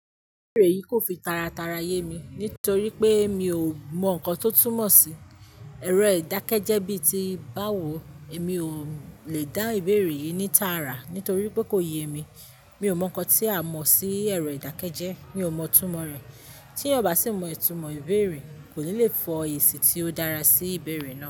Ìbéèrè yìí kò fi tara tara ye mi nítorí pé mi ò mọ nǹkan tó túmọ̀ sí "ẹ̀rọ ìdákẹ́jẹ́" bi ti báwo. Èmi ò lè dá ìbéèrè yìí ní tààrà nítorí pé kò ye mi. Mi ò mọ nǹkan tí a mọ̀ sí ẹ̀rọ ìdákẹ́jẹ́. Mi ò mọ itúnmọ̀ rẹ̀. Tí ọba sì mọ itúnmọ̀ ìbéèrè, kò ní le fọ èsì tí ó dára sí ìbéèrè náà.